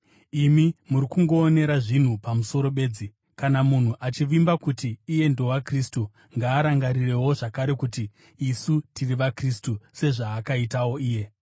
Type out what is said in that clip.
Imi muri kungoonera zvinhu pamusoro bedzi. Kana munhu achivimba kuti iye ndowaKristu, ngaarangarirewo zvakare kuti isu tiri vaKristu sezvaakaitawo iye.